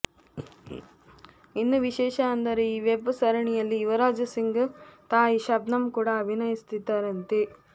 ಇನ್ನು ವಿಶೇಷ ಅಂದರೆ ಈ ವೆಬ್ ಸರಣಿಯಲ್ಲಿ ಯುವರಾಜ್ ಸಿಂಗ್ ತಾಯಿ ಶಬ್ನಮ್ ಕೂಡ ಅಭಿನಯಿಸುತ್ತಿದ್ದಾರಂತೆ